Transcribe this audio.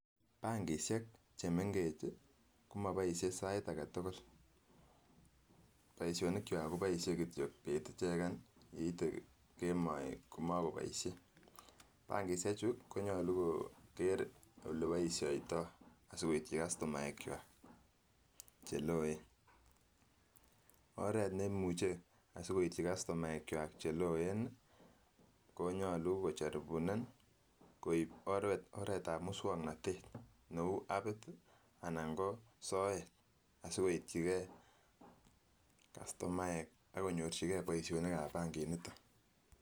Bankishek chemengech komoboisie sait agetugul boisionikwak koboisie kityok bet icheken koite kemoi komokoboisie, bankishechu konyolu koker oleboishoitoi asikoityi kastumaekwak cheloen, oret nemuche asikoityi kastumaekwak cheloen ii konyolu kocharibunan koib oretab mukswonotet neu apit anan soet sikoityigee kastumaekwak akonyorjigee boisionikab bankiniton.